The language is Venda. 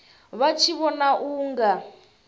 vha tshi vhona u nga